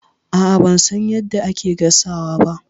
A'a, ban san yadda ake gasawa ba.